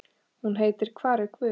Hún heitir Hvar er guð?